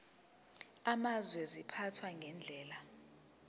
amazwe ziphathwa ngendlela